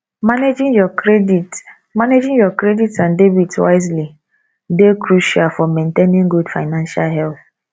managing your credit managing your credit and debit wisely dey crucial for maintainng good financial health